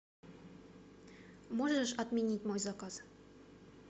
можешь отменить мой заказ